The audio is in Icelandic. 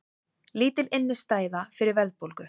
Lítil innistæða fyrir verðbólgu